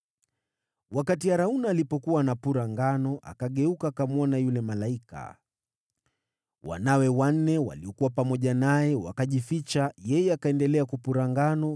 Arauna alipokuwa akipura ngano, akageuka akamwona yule malaika. Wanawe wanne waliokuwa pamoja naye wakajificha, yeye akaendelea kupura ngano.